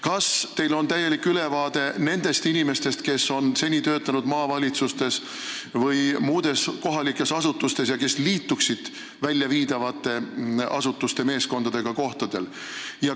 Kas teil on täielik ülevaade nendest inimestest, kes on seni töötanud maavalitsustes või muudes kohalikes asutustes ja kes liituksid kohtadel väljaviidavate asutuste meeskondadega?